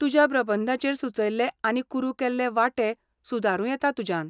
तुज्या प्रबंधाचेर सुचयल्ले आनी कुरू केल्ले वांटे सुदारूं येतात तुज्यान.